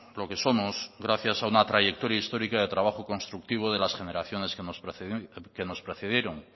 lo que somos gracias a una trayectoria histórica de trabajo constructivo de las generaciones que nos precedieron